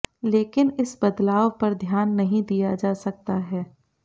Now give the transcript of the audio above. लेकिन इस बदलाव पर ध्यान नहीं दिया जा सकता है